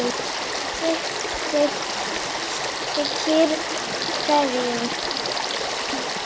sitt þykir hverjum